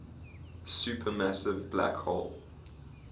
supermassive black hole